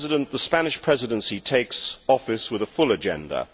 The Spanish Presidency takes office with a full agenda.